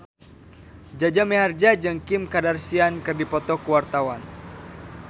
Jaja Mihardja jeung Kim Kardashian keur dipoto ku wartawan